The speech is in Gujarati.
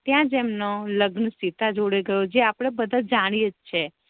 ત્યાજ એમનો લગ્ન સીતા જોડે થયો જે આપણે બધા જાણીએ જ છે